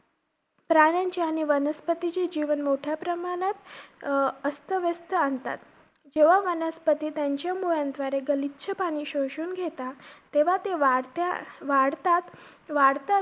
प्राण्यांच्या आणि वनस्पतींचे जीवन मोठ्या प्रमाणत अं अस्थ व्यस्त आणतात. जेव्हा वनस्पती त्यांचा मुळांद्वारे गलिच्छ पाणी शोषून घेतात, तेव्हा ते वाढत्या~ वाढतात~ वाढतात.